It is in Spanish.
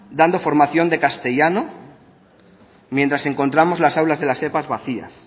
dando formación de castellano mientras encontramos las aulas de las epa vacías